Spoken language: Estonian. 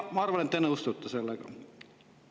Ma arvan, et te nõustute sellega.